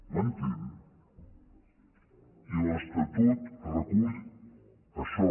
m’entén i l’estatut recull això